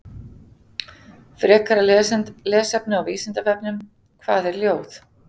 Frekara lesefni á Vísindavefnum: Hvað er ljóð?